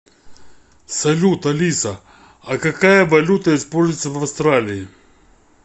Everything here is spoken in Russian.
салют алиса а какая валюта используется в австралии